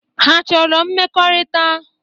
Ha achọrọ mmekọrịta?